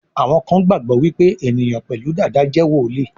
Àwọn kán gbagbọ wipe eniyan pẹlu Dàda jé woli.